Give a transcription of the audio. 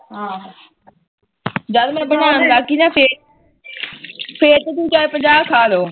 ਜਦ ਮੈ ਬਣਾਣ ਲੱਗ ਗੀ ਨਾ ਫੇਰ ਤਾ ਤੂੰ ਚਾਹੇ ਪੰਜਾਹ ਖਾਲੋ